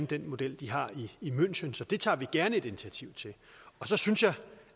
den model de har i münchen så det tager vi gerne et initiativ til og så synes jeg